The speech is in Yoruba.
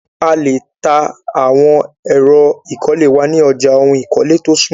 A lè ta àwọn ẹ̀ro ìkọ́lé wa ni ọja òhún ìkọ́lé tó súnmọ́ wa.